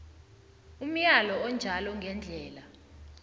umyalo onjalo ngendlela